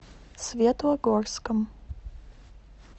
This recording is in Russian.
светлогорском